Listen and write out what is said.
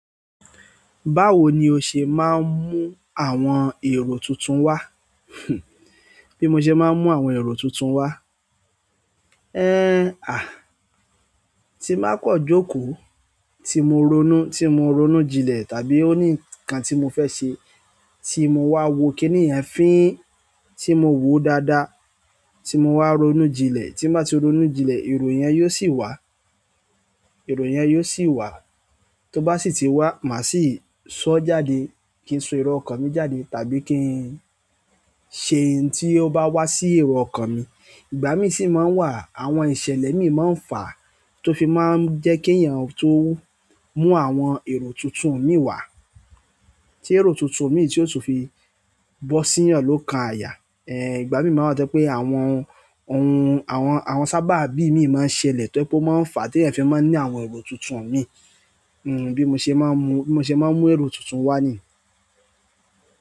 Báwo ni o ṣe máa ń mú àwọn èrò tuntun wá? Bi mo se maa n mu àwọn ero tuntun wa. Ẹ́, à, tí bá kan jókòó, tí mo ronú, tí mo ronú jinlẹ̀ tàbí ó ní nǹkan tí mo fẹ́ ṣe tí mo wá wo kíni ẹ̀yin ń fín, tí mo wòó dáadáa, tí mo wá ronú jinlẹ̀, tí mo bá ti ronú jinlẹ̀, èrò yẹn yóò sì wá, èrò yẹn yóò sì wá. Tó bá sì ti wá, màá sì sọ jáde kí n so èrò ọkàn mi jáde tàbí kí n ṣe ohun tí ó bá wá sí èrò ọkàn mi. Igbá mi sì máa ń wà, àwọn ìṣẹ̀lẹ̀ mi máa ń fàá tó fi máa ń jẹ́ kí ẹ̀yàn tó mú àwọn èrò tuntun mi wá. Tí èrò tuntun mi tí ó tún fi bọ́ sí ìyàn ló kan àyà. Ẹ̀, ìgbá mi máa ń jẹ́ pé àwọn ohun, àwọn, àwọn sábà bí mi máa ń ṣẹlẹ̀ tó ẹ pé ó máa ń fà á tí ẹ̀yin fẹ́ máa ń ní àwọn èrò tuntun mi. Hmm, bí mo ṣe máa ń mú, bí mo ṣe máa ń mú èrò tuntun wá ni.